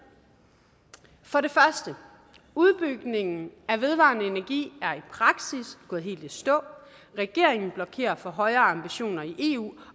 for det første udbygningen af vedvarende energi er praksis gået helt i stå regeringen blokerer for højere ambitioner i eu